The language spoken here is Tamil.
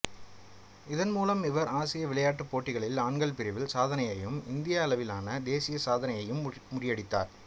இதன் மூலம் இவர் ஆசிய விளையாட்டுப் போட்டிகளில் ஆண்கள் பிரிவில் சாதனையையும் இந்திய அளவிலான தேசிய சாதனையையும் முறியடித்தார்